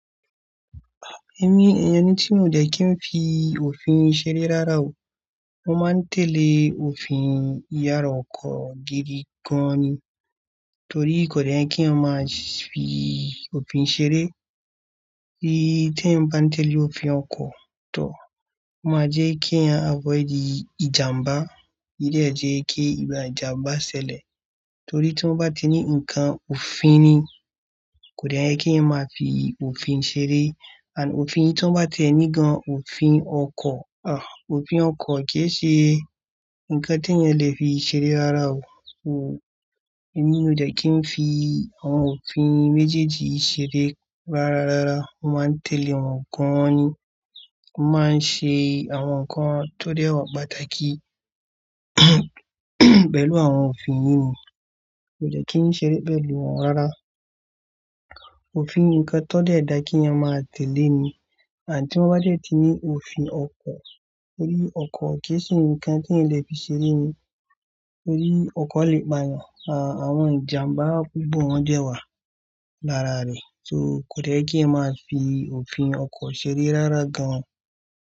Ẹ̀mi, ẹni tí mo de kí n fi òfin ṣeré rárá o. Mo máa ń tẹ̀lé òfin yàrá ọkọ̀ gidi gan-an ni. Torí kò de yẹ́ kí eyan máa fi òfin ṣeré. Bí tí ẹ̀ n bá ń tẹ̀lé òfin ọkọ̀, tó omáa jẹ́ kí ẹ̀ yan àfoidi ìjàmbá. Ídè jẹ́ kí ìbà ìjàmbá ṣẹlẹ̀. Torí tí wọ́n bá ti ní ǹkan òfin ni, kò de yẹ́ kí ẹ̀eyan máa fi òfin ṣeré. Ànd òfin yii tí wọ́n bá ti ẹ̀ ní gan-an òfin ọkọ̀, òfin ọkọ̀ kíì ṣe ǹkan tí ẹ̀eyan lè fi ṣeré rárá o. Ẹ̀mi mi ò de kí n fi àwọn òfin méjèèjì yii ṣeré rárá rárá. Mo máa ń tẹ̀lé wọn gan-an ni. Mo máa ń ṣe àwọn nǹkan tó dẹ́ wọn pàtàkì pẹ̀lú àwọn òfin yìí ni. Kò de kí n ṣeré pẹ̀lú wọn rárá. Òfin nǹkan tó dẹ́ dà kí ẹ̀eyan máa tẹ̀lé ni. And ti wọ́n bá dẹ̀ ti ní òfin ọkọ̀, torí ọkọ̀ kíì ṣe ǹkan tí ẹ̀eyan lè fi ṣeré ni. Torí ọkọ̀ lè pa ẹeyan. Àwọn ìjàmbá púpọ̀ wọn dẹ́ wà lára rẹ̀. So kò de yẹ́ kí ẹ̀eyan máa fi òfin ọkọ̀ ṣeré rárá gan-an.